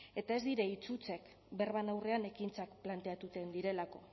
eta ez dira hitz hutsak berbaren aurrean ekintzak planteatuten direlako